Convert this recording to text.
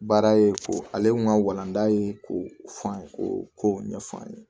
Baara ye ko ale kun ka walanda ye ko f'an k'o kow ɲɛfɔ an ye